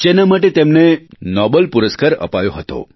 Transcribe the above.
જેના માટે તેમને નોબલપુરસ્કાર અપાયો હતો